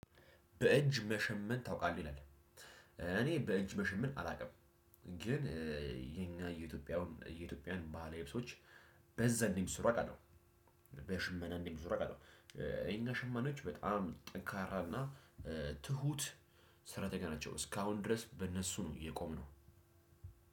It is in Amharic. በእጅ መሸመን ታውቃለህ ይላል? እኔ በእጅ መሸመን አላውቅም። ግን የኛ የኢትዮጵያውን የኢትዮጵያን ባህላዊ ልብሶች። በዛ እንደሚሰሩ አውቃለሁ። በሽመና እንደሚሰሩ አውቃለሁ። የኛ ሸማኔዎች በጣም ጠንካራና ትሁት ሰራተኛ ናቸው። እስካሁን ድረስ በእነሱ ነው የቆምነው።